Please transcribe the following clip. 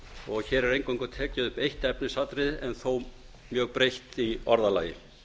og hér er eingöngu tekið upp eitt efnisatriði en þó mjög breytt í orðalagi